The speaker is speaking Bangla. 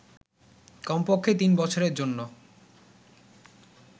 কমপক্ষে তিন বছরের জন্য